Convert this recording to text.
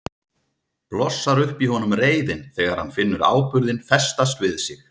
Blossar upp í honum reiðin þegar hann finnur áburðinn festast við sig.